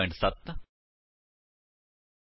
Eclipse ਦੀ ਵਰਤੋ ਕਰਕੇ ਜਾਵਾ ਵਿੱਚ ਕੰਸਟਰਕਟਰ ਕਿਵੇਂ ਬਨਾਈਏ